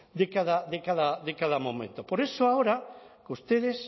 de cada momento por eso ahora ustedes